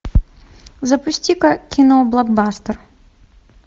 запусти ка кино блокбастер